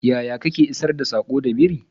yaya Kake isar da sako da biri?